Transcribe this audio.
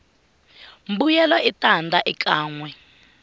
mbuyelo i tanda ekanwe